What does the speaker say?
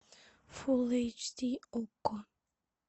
фулл эйч ди окко